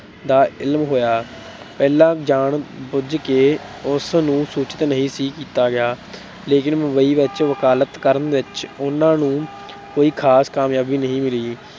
ਦਾ ਇਲਮ ਹੋਇਆ। ਪਹਿਲਾਂ ਜਾਣ ਬੁਝ ਕੇ ਉਸਨੂੰ ਸੂਚਿਤ ਨਹੀਂ ਸੀ ਕੀਤਾ ਗਿਆ। ਲੇਕਿਨ ਮੁੰਬਈ ਵਿੱਚ ਵਕਾਲਤ ਕਰਨ ਵਿੱਚ ਉਨ੍ਹਾਂ ਨੂੰ ਕੋਈ ਖ਼ਾਸ ਕਾਮਯਾਬੀ ਨਹੀਂ ਮਿਲੀ।